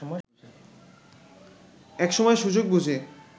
এক সময় সুযোগ বুঝে